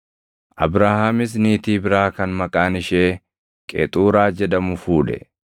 Abrahaamis niitii biraa kan maqaan ishee Qexuuraa jedhamu fuudhe.